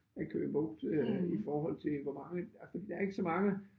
Ad Køge Bugt øh i forhold til hvor mange ah fordi der ikke så mange